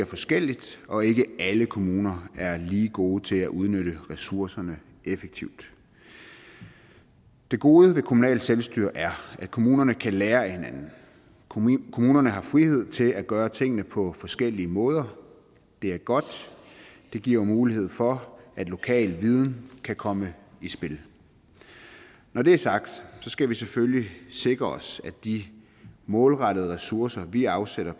forskelligt og ikke alle kommuner er lige gode til at udnytte ressourcerne effektivt det gode ved kommunalt selvstyre er at kommunerne kan lære af hinanden kommunerne har frihed til at gøre tingene på forskellige måder det er godt det giver mulighed for at lokal viden kan komme i spil når det er sagt skal vi selvfølgelig sikre os at de målrettede ressourcer vi afsætter